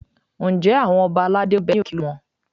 Ǹjẹ́ àwọn ọba aládé ń bẹ ní òkè Olúmọ?